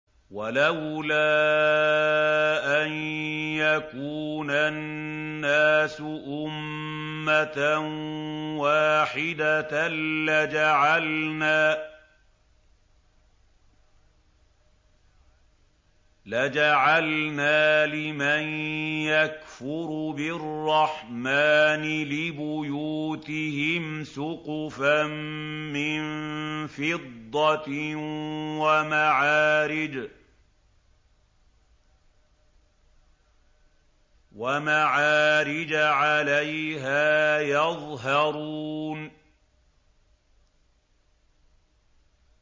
وَلَوْلَا أَن يَكُونَ النَّاسُ أُمَّةً وَاحِدَةً لَّجَعَلْنَا لِمَن يَكْفُرُ بِالرَّحْمَٰنِ لِبُيُوتِهِمْ سُقُفًا مِّن فِضَّةٍ وَمَعَارِجَ عَلَيْهَا يَظْهَرُونَ